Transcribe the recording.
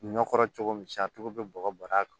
Ɲɔ kɔrɔ cogo min sa a tigi be bɔgɔ bɔrɛ